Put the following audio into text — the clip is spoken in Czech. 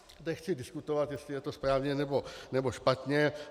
Nechci diskutovat, jestli je to správně, nebo špatně.